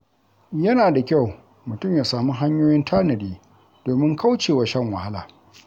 Yana da kyau mutum ya sami hanyoyin tanadi domin kaucewa shan wahala.